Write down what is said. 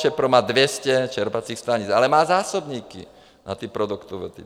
ČEPRO má 200 čerpacích stanic, ale má zásobníky na ty produktovody.